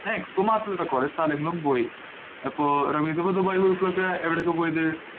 expo മാത്രല്ല. പലസ്ഥലങ്ങളിലും പോയി. റമീസ ദുബായില് പോയപ്പോളൊക്കെ എവിടെക്കാ പോയത്.